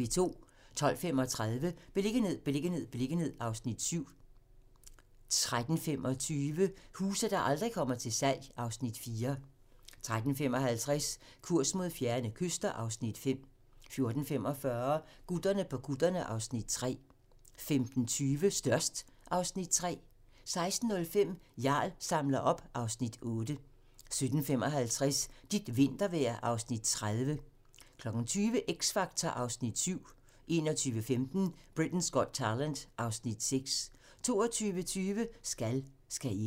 12:35: Beliggenhed, beliggenhed, beliggenhed (Afs. 7) 13:25: Huse, der aldrig kommer til salg (Afs. 4) 13:55: Kurs mod fjerne kyster (Afs. 5) 14:45: Gutterne på kutterne (Afs. 3) 15:20: Størst (Afs. 3) 16:05: Jarl samler op (Afs. 8) 17:55: Dit vintervejr (Afs. 30) 20:00: X Factor (Afs. 7) 21:15: Britain's Got Talent (Afs. 6) 22:20: Skal, skal ikke?